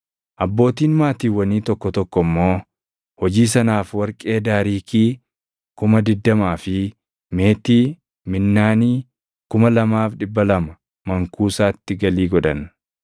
Abbootiin maatiiwwanii tokko tokko immoo hojii sanaaf warqee daariikii 20,000 fi meetii minnaanii + 7:71 Minnaaniin tokko giraamii 600. 2,200 mankuusatti galii godhan.